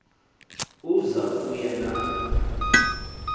uza kuya na